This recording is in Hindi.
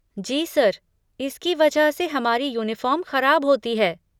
जी सर, इसकी वजह से हमारी यूनिफ़ॉर्म ख़राब होती है।